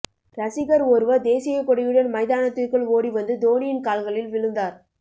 ரசிகர் ஒருவர் தேசியக் கொடியுடன் மைதானத்திற்குள் ஓடி வந்து தோனியின் கால்களில் விழுந்தார்